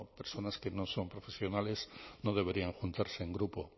personas que no son profesionales no deberían juntarse en grupo